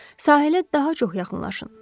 Sahilə daha çox yaxınlaşın.